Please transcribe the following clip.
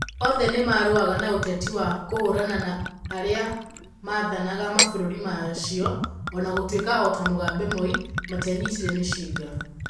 Othe nĩmarũaga na ũteti wa kũhũrana na arĩa maathanaga mabũrũri macio, o na gũtuĩka o ta Mugabe Moi, matianyitire mĩcinga.